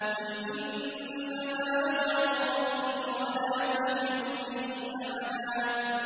قُلْ إِنَّمَا أَدْعُو رَبِّي وَلَا أُشْرِكُ بِهِ أَحَدًا